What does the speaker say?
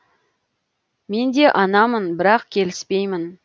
мен де анамын бірақ келіспеймін